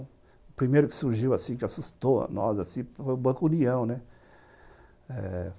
O primeiro que surgiu assim, que assustou a nós assim, foi o Banco União, né?